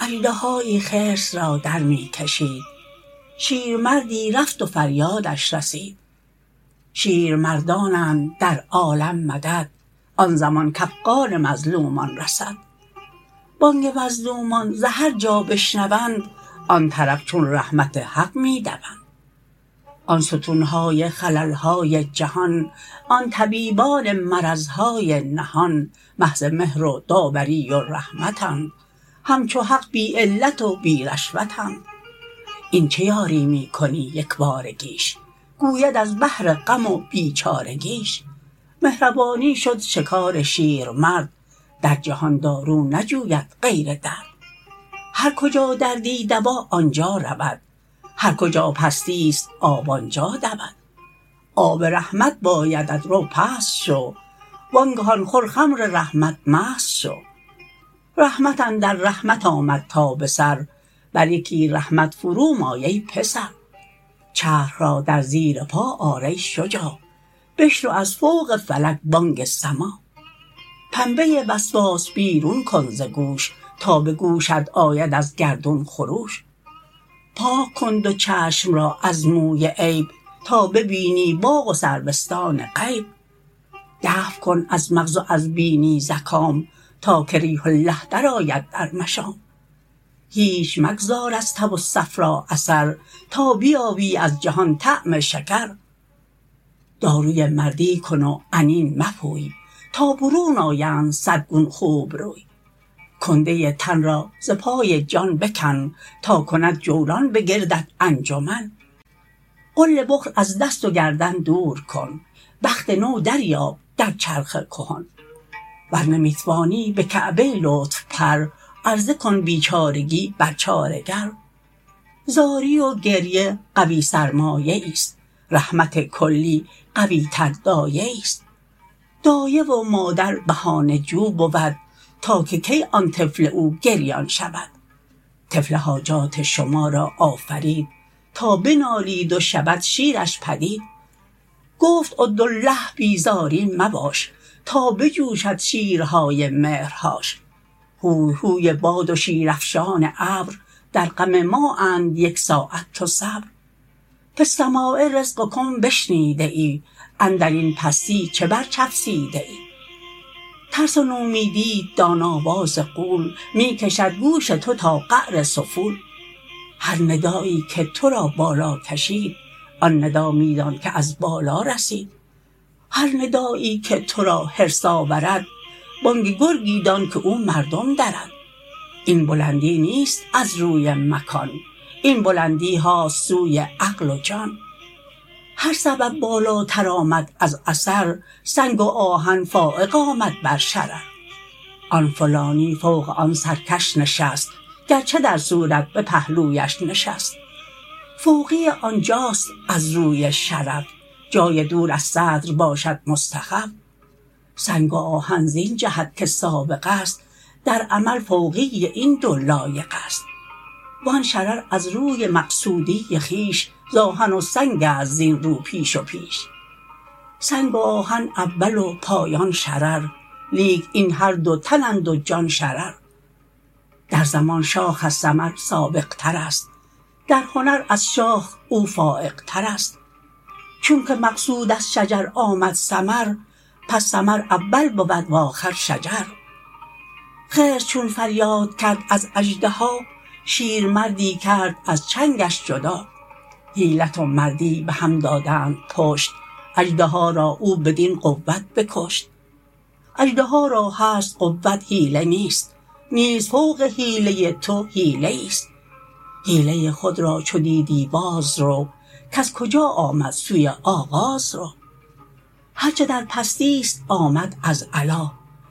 اژدهایی خرس را درمی کشید شیرمردی رفت و فریادش رسید شیرمردانند در عالم مدد آن زمان کافغان مظلومان رسد بانگ مظلومان ز هرجا بشنوند آن طرف چون رحمت حق می دوند آن ستونهای خللهای جهان آن طبیبان مرضهای نهان محض مهر و داوری و رحمتند همچو حق بی علت و بی رشوتند این چه یاری می کنی یکبارگیش گوید از بهر غم و بیچارگیش مهربانی شد شکار شیرمرد در جهان دارو نجوید غیر درد هر کجا دردی دوا آنجا رود هر کجا پستیست آب آنجا دود آب رحمت بایدت رو پست شو وانگهان خور خمر رحمت مست شو رحمت اندر رحمت آمد تا به سر بر یکی رحمت فرو مای ای پسر چرخ را در زیر پا آر ای شجاع بشنو از فوق فلک بانگ سماع پنبه وسواس بیرون کن ز گوش تا به گوشت آید از گردون خروش پاک کن دو چشم را از موی عیب تا ببینی باغ و سروستان غیب دفع کن از مغز و از بینی زکام تا که ریح الله در آید در مشام هیچ مگذار از تب و صفرا اثر تا بیابی از جهان طعم شکر داروی مردی کن و عنین مپوی تا برون آیند صد گون خوب روی کنده تن را ز پای جان بکن تا کند جولان به گردت انجمن غل بخل از دست و گردن دور کن بخت نو دریاب در چرخ کهن ور نمی توانی به کعبه لطف پر عرضه کن بیچارگی بر چاره گر زاری و گریه قوی سرمایه ایست رحمت کلی قوی تر دایه ایست دایه و مادر بهانه جو بود تا که کی آن طفل او گریان شود طفل حاجات شما را آفرید تا بنالید و شود شیرش پدید گفت ادعوا الله بی زاری مباش تا بجوشد شیرهای مهرهاش هوی هوی باد و شیرافشان ابر در غم ما اند یک ساعت تو صبر فی السماء رزقکم بشنیده ای اندرین پستی چه بر چفسیده ای ترس و نومیدیت دان آواز غول می کشد گوش تو تا قعر سفول هر ندایی که ترا بالا کشید آن ندا می دان که از بالا رسید هر ندایی که ترا حرص آورد بانگ گرگی دان که او مردم درد این بلندی نیست از روی مکان این بلندیهاست سوی عقل و جان هر سبب بالاتر آمد از اثر سنگ و آهن فایق آمد بر شرر آن فلانی فوق آن سرکش نشست گرچه در صورت به پهلویش نشست فوقی آنجاست از روی شرف جای دور از صدر باشد مستخف سنگ و آهن زین جهت که سابق است در عمل فوقی این دو لایق است وآن شرر از روی مقصودی خویش ز آهن و سنگست زین رو پیش و پیش سنگ و آهن اول و پایان شرر لیک این هر دو تنند و جان شرر در زمان شاخ از ثمر سابق ترست در هنر از شاخ او فایق ترست چونک مقصود از شجر آمد ثمر پس ثمر اول بود وآخر شجر خرس چون فریاد کرد از اژدها شیرمردی کرد از چنگش جدا حیلت و مردی به هم دادند پشت اژدها را او بدین قوت بکشت اژدها را هست قوت حیله نیست نیز فوق حیله تو حیله ایست حیله خود را چو دیدی باز رو کز کجا آمد سوی آغاز رو هر چه در پستیست آمد از علا